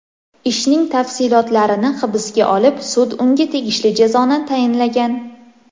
Ishning tafsilotlarini hisobga olib, sud unga tegishli jazoni tayinlagan.